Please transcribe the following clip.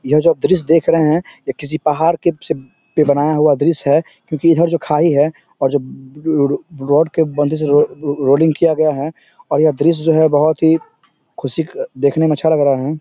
यह जो आप दृश्य देख रहे है यह किसी पहाड़ के से पे बनाया हुआ दृश्य हैं क्यूँकि इधर जो खाई है और जो लू लाॅड के बंधे से लू लो लोडिंग किया गया है और यह दृश्य जो है बहोत ही खुशी का देखने में अच्छा लग रहा हैं ।